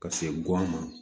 Ka se guwan